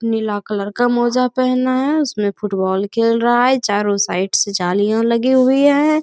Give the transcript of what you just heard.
नीला colour का मोजा पहना है उसमे फुटबॉल खेल रहा है चारों साइड से जालियां लगी हुई है।